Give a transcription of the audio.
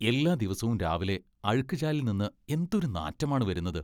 എല്ലാ ദിവസവും രാവിലെ അഴുക്കുചാലിൽ നിന്ന് എന്തൊരു നാറ്റമാണ് വരുന്നത്.